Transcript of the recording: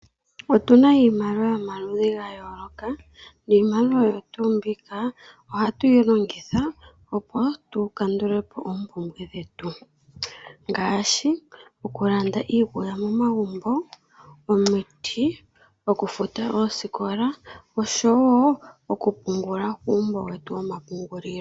Otu na iimaliwa yomaludhi ga yooloka niimaliwa oyo tuu mbika ohatu yi longitha opo tukandule po oompumbwe dhetu ngaashi okulanda iikulya momagumbo, omiti, okufuta oosikola osho wo okupungula kuumbo wetu womapungulilo.